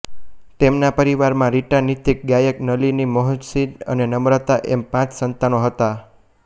તેમના પરિવારમાં રીટા નિતિન ગાયક નલિની મોહનીશ અને નમ્રતા એમ પાંચ સંતાનો હતા